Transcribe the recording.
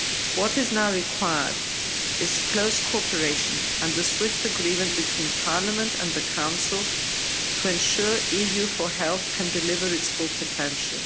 What is now required is close cooperation and the swift agreement between Parliament and the Council to ensure EU4Health can deliver its full potential.